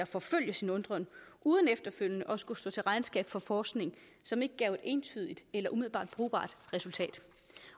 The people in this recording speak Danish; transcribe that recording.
forfølge sin undren uden efterfølgende at skulle stå til regnskab for forskning som ikke gav et entydigt eller umiddelbart brugbart resultat